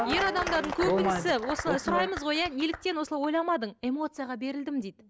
ер адамдардың көбінісі осылай сұраймыз ғой иә неліктен осылай ойламадың эмоцияға берілдім дейді